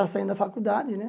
Já saindo da faculdade, né?